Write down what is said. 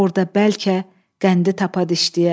Orda bəlkə qəndi tapa dişləyə.